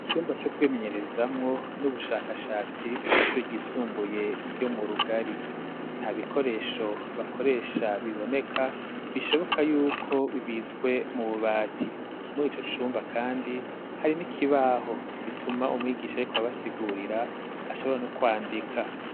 Icumba co kwimenyerezamwo n'ubushakashatsi kw'ishure ryisumbuye ryo mu Rugari. Nta bikoresho bakoresha biboneka, bishoboka yuko bibitswe mu bubati. Muri ico cumba kandi hari n'ikibaho, bituma umwigisha ariko arabasigurira ashobora no kwandika.